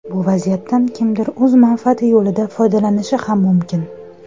Bu vaziyatdan kimdir o‘z manfaati yo‘lida foydalanishi ham mumkin.